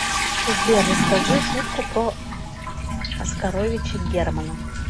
сбер расскажи шутку про оскаровича германа